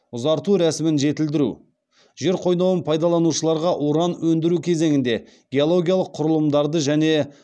ұзарту рәсімін жетілдіру жер қойнауын пайдаланушыларға уран өндіру кезеңінде геологиялық құрылымдарды және